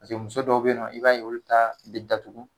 Paseke muso dɔw be yen nɔ, i b'a ye olu ta be datugu.